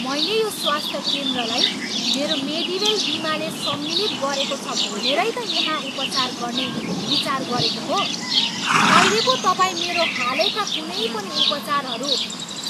मैले यो स्वास्थ केन्द्रलाई मेरो मेडिवेल बिमाले सम्मिलित गरेको छ भनेरै त यहाँ उपचार गर्ने विचार गरेको हो। अहिले पो तपाईँ मेरो हालैका कुनै पनि उपचारहरू